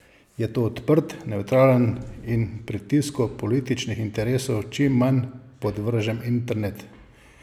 Je to odprt, nevtralen in pritisku političnih interesov čim manj podvržen internet?